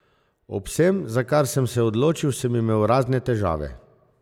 Ob vsem, za kar sem se odločil, sem imel razne težave.